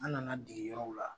An nana dege yɔrɔw la